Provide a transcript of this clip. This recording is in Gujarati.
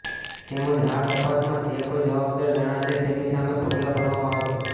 તેમજ આ તપાસમાં જે કોઈ જવાબદાર જણાશે તેની સામે પગલાં ભરવામાં આવશે